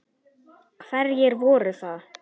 Hverjir voru það?